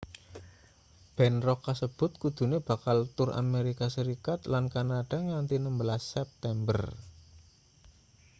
band rock kasebut kudune bakal tur amerika serikat lan kanada nganthi 16 september